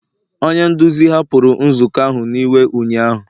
onye nduzi hapụrụ nzukọ ahụ n'iwe ụnyahụ